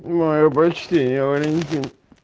моё почтение валентин